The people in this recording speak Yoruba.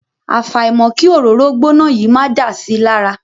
Àfàìmọ̀ kí òróró gbóná yìí máa dà si lára.